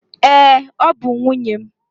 Ee, ọ bụ nwunye m.